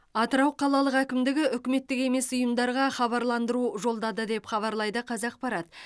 атырау қалалық әкімдігі үкіметтік емес ұйымдарға хабарландыру жолдады деп хабарлайды қазақпарат